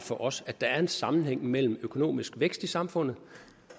for os at der er en sammenhæng mellem økonomisk vækst i samfundet